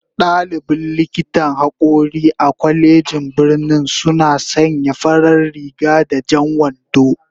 Dalibin likitan hakori a kwalejin birnin suna sanya farar riga da jan wando